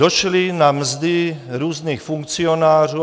Došly na mzdy různých funkcionářů.